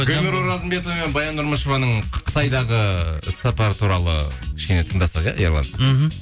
гүлнұр оразымбетова мен баян нұрмышеваның қытайдағы іс сапары туралы кішкене тыңдасақ иә ерлан мхм